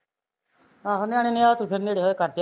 ਆਹੋ ਨਿਆਣੇ ਨੇ ਫਿਰ ਰਾਤ ਨੂੰ ਨੇੜੇ ਹੋਏ ਕਰਦੇ ਆ